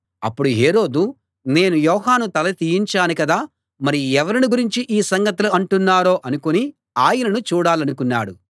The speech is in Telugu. అప్పుడు హేరోదు నేను యోహాను తల తీయించాను కదా మరి ఎవరిని గురించి ఈ సంగతులు అంటున్నారో అనుకుని ఆయనను చూడాలనుకున్నాడు